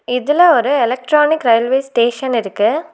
இதுல ஒரு electronic railway station இருக்கு.